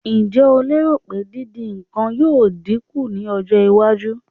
Ǹjẹ́ o lérò pé dídín nǹkan yóò dín kù ní ọjọ́-iwájú?